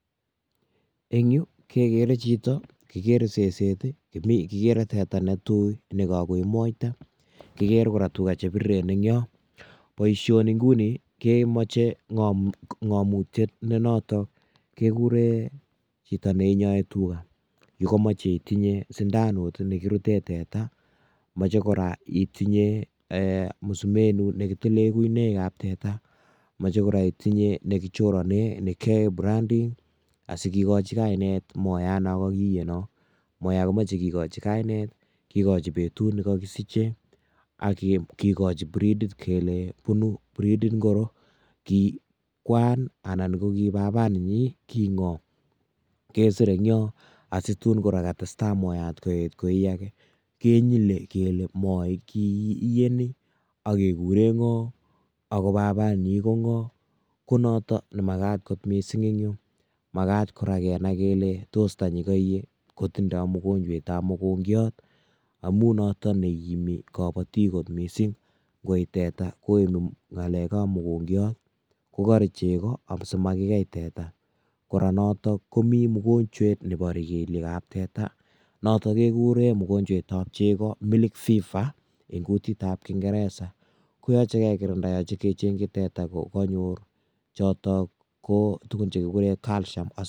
En yu kegere chito, kigere seset I,kigere teta netui nekakoi Moira, kigere kora tugaa chebirireen en yon. Boishoni inguni kemoche ngomutiet nenotok ,keguuren chito neiinyoe tugaa Komoche itinye sindanut nekiruteen teta, noche kora itinye musumenet nekitileel guinoik ab teta, moche kora itinye nekichoronen, nekiyoen branding asikikochi kainet moita nekokiyee. Moche kikochi kainet, kikoochi betut nekokisiche akikochi bridit kele bunu breed ainon, ki kwan anan ko kibaba nenyiin, ki ngoo. kesir en yon asitun kora katestai moian koyeet koi age, kenyile kele moii kiiyee ni, akekureen ngo ako babanyin ko ngoo. Konotok nekamakat kot missing en yu, makat kenai kele tos tanyii koie kotinye mogonjwet amun notok neikimitii kobootik kot missing. Ingoi teta ko en ngalekab mokongiot koboree chegoo asimakikeei teta. Kora notok komi mogonywet nemi neile keliekab teta, notok kekuren mugonjwaitab chegoo milk fever eng kuutit ab kingeresa koyoche kekirinda kechengchi teta ko kanyoor chotok kotugun chekikuuren calcium